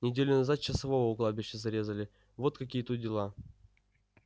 неделю назад часового у кладбища зарезали вот какие тут дела